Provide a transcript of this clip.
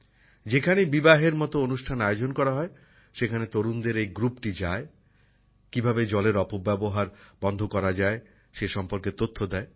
যেখানেই বিবাহের মতো অনুষ্ঠান আয়োজন করা হয় সেখানে তরুণদের এই দলটি যায় কীভাবে জলের অপব্যবহার বন্ধ করা যায় সে সম্পর্কে তথ্য দেয়